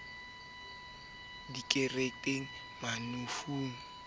dikerekeng mafung ba a eta